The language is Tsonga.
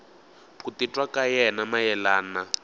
ku titwa ka yena mayelana